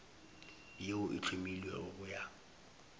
yeo e hlomilwego go ya